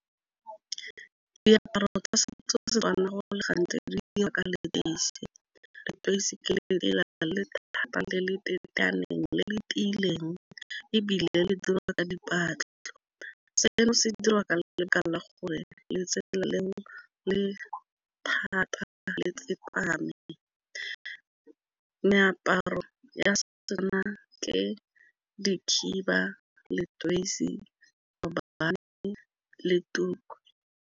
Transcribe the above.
Diaparo tsa setso tsa Setswana gore go le gantsi di dirwa ka leteisi, leteisi le le le le tiileng ebile le dirwa ka . Seno se dirwa la gore letsela leo le thata le tsepame, meaparo ya ke dikhiba, leteisi, le tuku.